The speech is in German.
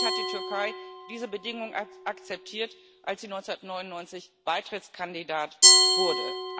Schließlich hat die Türkei diese Bedingungen akzeptiert, als sie 1999 Beitrittskandidat wurde.